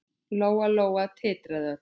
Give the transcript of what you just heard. Lóa-Lóa titraði öll.